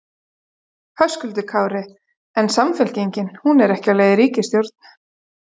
Höskuldur Kári: En Samfylkingin, hún er ekki á leið í ríkisstjórn?